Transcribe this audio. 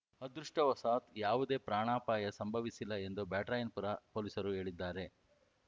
ಅದೃಷ್ಟವಶಾತ್‌ ಯಾವುದೇ ಪ್ರಾಣಾಪಾಯ ಸಂಭವಿಸಿಲ್ಲ ಎಂದು ಬ್ಯಾಟರಾಯನಪುರ ಪೊಲೀಸರು ಹೇಳಿದ್ದಾರೆ